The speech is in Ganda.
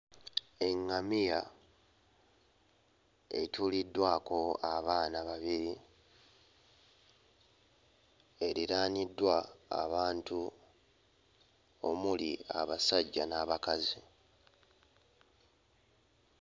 Eᵑᵑamiya etuuliddwako abaana babiri eriraaniddwa abantu omuli abasajja n'abakazi.